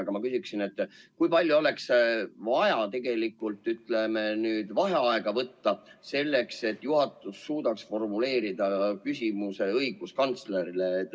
Aga ma küsin, kui palju oleks vaja vaheaega võtta, selleks et juhatus suudaks formuleerida küsimuse õiguskantslerile?